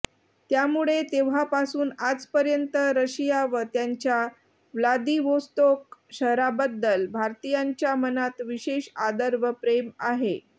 त्यामुळे तेव्हापासून आजपर्यंत रशिया व त्यांच्या व्लादीवोस्तोक शहराबद्दल भारतीयांच्या मनात विशेष आदर व प्रेम आहे